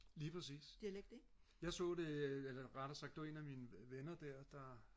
lige præcis jeg så det eller rettere sagt det var en af mine venner der der